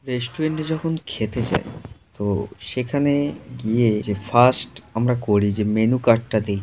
রেস্টুরেন্টে যখন খেতে যায়। তো সেখানে গিয়ে যে ফাস্ট আমরা করি যে মেনু কার্ড টা দে--